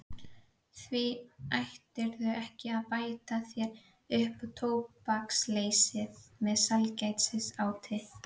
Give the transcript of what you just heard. Því ættirðu ekki að bæta þér upp tóbaksleysið með sælgætisáti.